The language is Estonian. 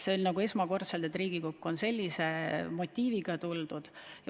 See on vist esimene kord, kui Riigikokku on sellise motiiviga tuldud.